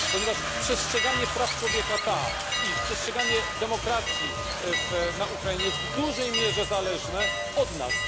Ponieważ przestrzeganie praw człowieka i przestrzeganie demokracji na Ukrainie jest w dużej mierze zależne od nas.